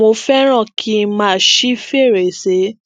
mo féràn kí n máa ṣí fèrèsé